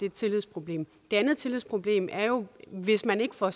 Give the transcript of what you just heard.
et tillidsproblem det andet tillidsproblem er jo at hvis man ikke får